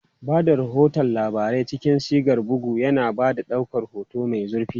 Ba da rahoton labarai cikin sigar bugu, yana ba da ɗaukar hoto mai zurfi.